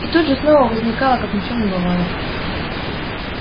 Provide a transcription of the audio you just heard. и тут же снова возникла как ни в чем не бывало